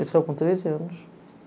Ele saiu com treze anos.